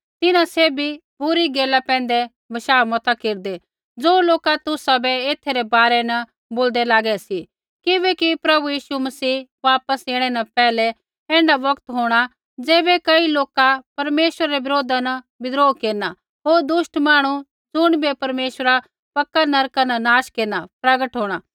तिन्हां सैभी बुरी गैला पैंधै बशाह मता केरदै ज़ो लोका तुसाबै एथा रै बारै न बोलदै लागै सी किबैकि प्रभु यीशु मसीह वापस ऐणै न पैहलै ऐण्ढा बौगत होंणा ज़ैबै कई लोका परमेश्वरा रै बरोधा न विद्रोह केरना होर दुष्ट मांहणु ज़ुणिबै परमेश्वरा पक्का नरका न नाश केरना प्रगट होंणा